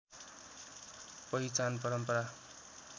पहिचान परम्परा